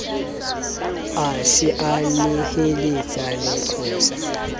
a se a neheletsa leqosa